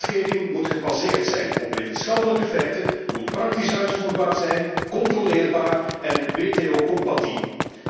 De wetgeving moet gebaseerd zijn op wetenschappelijke feiten, moet praktisch uitvoerbaar zijn, controleerbaar en WTO compatibel.